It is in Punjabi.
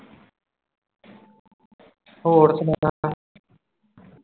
ਤੇ ਹੋਰ ਸੁਣਾ